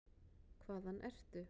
Hvaðan ertu?